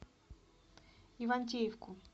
ивантеевку